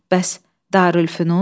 Bəs Darülfünun?